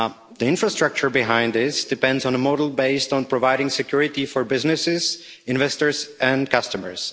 The infrastructure behind this depends on a model based on providing security for businesses, investors and customers.